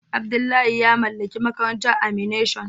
Abdullahi ya mallaki makarantar animation.